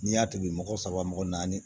N'i y'a tobi mɔgɔ saba mɔgɔ naani